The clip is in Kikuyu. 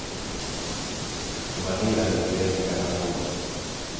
Vanilla nĩ ĩrendekana mũno